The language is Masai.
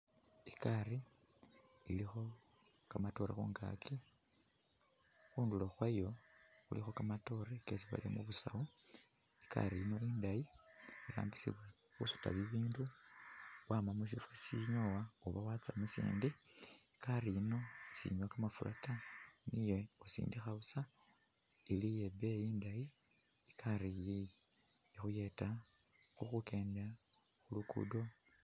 I'gaari ilikho kamatore khungaaki, khundulo khwayo khulikho kamatoore kesi barere musaawu. I'gaari yino indayi, irambisibwa khusuta bibindu wama musifwo sisinyowa oba watsya musindi. I'gaari yino sinywa kamafura ta, iye khusindikha busa, ili iye ibeeyi indayi, i'gaari iyi ikhuyeta khukenda khu luguudo.